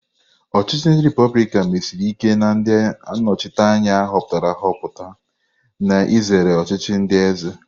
Ochichi ndi republikan mesiri ike na ndị nnọchiteanya a họpụtara ahọpụta, na-ezere ọchịchị ndi eze.